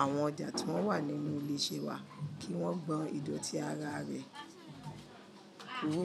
àwọn ọjà tí wọ́n wà nínú ilé iṣẹ́ wa, kí wọ́n gbọn ìdọ̀tí ara rẹ̀. Kúrò.